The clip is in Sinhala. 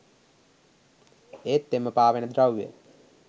ඒත් එම පාවෙන ද්‍රව්‍ය